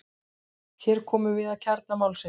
Hér komum við að kjarna málsins.